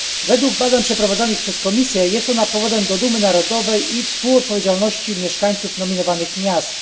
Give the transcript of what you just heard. Według badań przeprowadzonych przez Komisję jest ona powodem do dumy narodowej i współodpowiedzialności mieszkańców nominowanych miast.